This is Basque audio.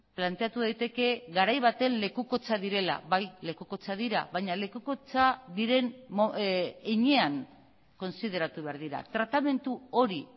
planteatu daiteke garai baten lekukotza direla bai lekukotza dira baina lekukotza diren heinean kontsideratu behar dira tratamendu hori